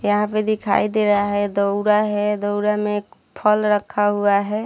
यहाँ पे दिखाई दे रहा है दउरा है दउरा में एक फल रखा हुआ है।